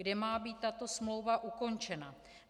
Kdy má být tato smlouva ukončena?